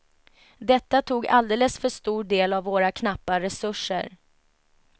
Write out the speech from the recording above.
Detta tog alldeles för stor del av våra knappa resurser.